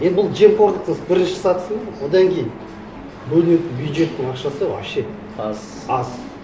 енді бұл жемқорлық бірінші сатысы ма одан кейін бөлінетін бюджеттің ақшасы вообще аз аз